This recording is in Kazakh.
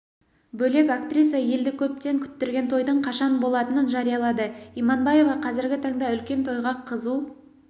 бөлек актриса елді көптен күттірген тойдың қашан болатынын жариялады иманбаева қазіргі таңда үлкен тойға қызу